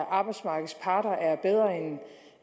arbejdsmarkedets parter